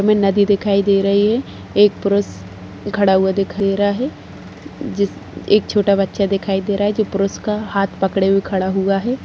हमे नदी दिखाई दे रही है एक पुरुष खड़ा हुआ दिखाई दे रहा है जिस एक छोटा बच्चा दिखाई दे रहा है जो पुरुष का हाथ पड़े हुए खड़ा हुआ है ।